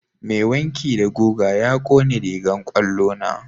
Mai wanki da guga ya ƙone rigan kwallo na.